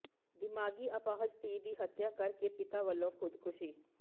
ਦਿਮਾਗੀ ਅਪਾਹਜ ਧੀ ਦੀ ਹੱਤਿਆ ਕਰਕੇ ਪਿਤਾ ਵੱਲੋਂ ਖ਼ੁਦਕੁਸ਼ੀ